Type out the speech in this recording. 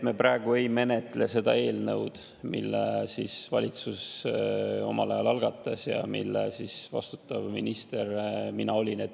Me praegu ei menetle seda eelnõu, mille valitsus omal ajal algatas ja mille eest vastutav minister mina olin.